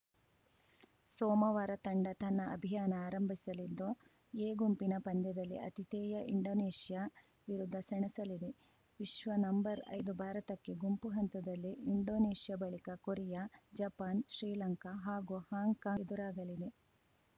ಸೋಮವಾರ ತಂಡ ತನ್ನ ಅಭಿಯಾನ ಆರಂಭಿಸಲಿದ್ದು ಎ ಗುಂಪಿನ ಪಂದ್ಯದಲ್ಲಿ ಆತಿಥೇಯ ಇಂಡೋನೇಷ್ಯಾ ವಿರುದ್ಧ ಸೆಣಸಲಿದೆ ವಿಶ್ವ ನಂಬರ್ಐದು ಭಾರತಕ್ಕೆ ಗುಂಪು ಹಂತದಲ್ಲಿ ಇಂಡೋನೇಷ್ಯಾ ಬಳಿಕ ಕೊರಿಯಾ ಜಪಾನ್‌ ಶ್ರೀಲಂಕಾ ಹಾಗೂ ಹಾಂಕಾಂಗ್‌ ಎದುರಾಗಲಿವೆ